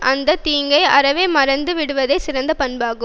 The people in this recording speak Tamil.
அந்த தீங்கை அறவே மறந்து விடுவதே சிறந்த பண்பாகும்